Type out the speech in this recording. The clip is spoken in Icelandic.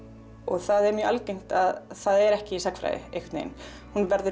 það er mjög algengt að það er ekki í sagnfræði hún verður